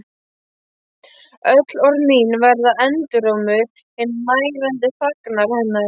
Öll orð mín verða endurómur hinnar nærandi þagnar hennar.